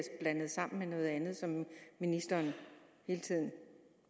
blandet sammen med noget andet som ministeren hele tiden